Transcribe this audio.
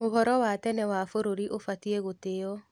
Ũhoro wa tene wa bũrũri ũbatiĩ gũtĩo.